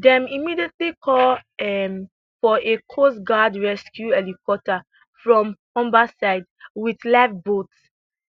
dem immediately call um for a coastguard rescue helicopter from humberside wit lifeboats